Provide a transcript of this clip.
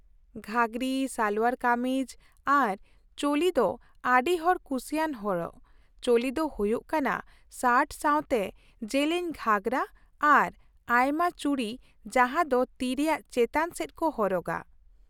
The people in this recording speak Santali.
ᱜᱷᱟᱜᱨᱤ, ᱥᱟᱞᱳᱣᱟᱨ ᱠᱟᱹᱢᱤᱡ, ᱟᱨ ᱪᱳᱞᱤ ᱫᱚ ᱟᱹᱰᱤ ᱦᱚᱲ ᱠᱩᱥᱤᱭᱟᱱ ᱦᱚᱨᱚᱜ ᱾ ᱪᱳᱞᱤ ᱫᱚ ᱦᱩᱭᱩᱜ ᱠᱟᱱᱟ ᱥᱟᱨᱴ ᱥᱟᱶᱛᱮ ᱡᱮᱞᱮᱧ ᱜᱷᱟᱜᱨᱟ ᱟᱨ ᱟᱭᱢᱟ ᱪᱩᱲᱤ ᱡᱟᱦᱟᱸ ᱫᱚ ᱛᱤ ᱨᱮᱭᱟᱜ ᱪᱮᱛᱟᱱ ᱥᱮᱫ ᱠᱚ ᱦᱚᱨᱚᱜᱼᱟ ᱾